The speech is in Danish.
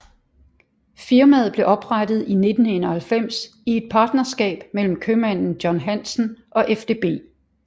Firmaet blev oprettet i 1991 i et partnerskab mellem købmanden John Hanssen og FDB